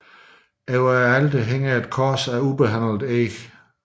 Over alteret hænger et kors af ubehandlet eg